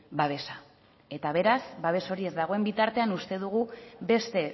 babesa eta beraz babes hori ez dagoen bitartean uste dugu beste